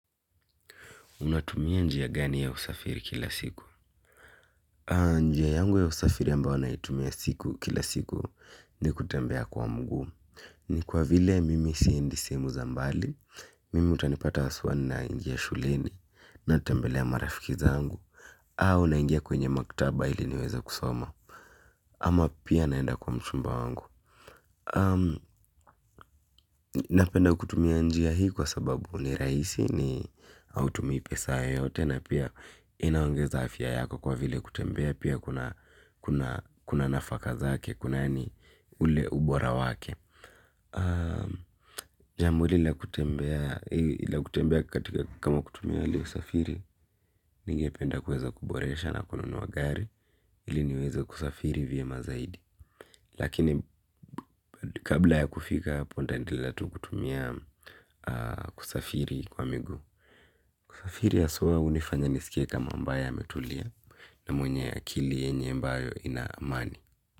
Unatumia njia gani ya usafiri kila siku? Njia yangu ya usafiri ambayo naitumia siku kila siku ni kutembea kwa mguu ni kwa vile mimi siendi sehemu za mbali. Mimi utanipata haswa ninaingia shuleni, natembelea marafiki zangu au naingia kwenye maktaba ili niweze kusoma ama pia naenda kwa mchumba wangu. Napenda kutumia njia hii kwa sababu ni rahisi ni hautumi pesa yoyote na pia inaongeza afya yako kwa vile kutembea pia kuna nafaka zake, kuna yaani ni ule ubora wake. Jambo hili la kutembea katika kama kutumia hali ya usafiri, nigependa kueza kuboresha na kununua gari ili niweze kusafiri vyema zaidi. Lakini kabla ya kufika hapo nitaendelea tu kutumia kusafiri kwa miguu. Kusafiri haswa hunifanya nisikie kama ambaye ametulia na mwenye akili yenye ambayo ina amani.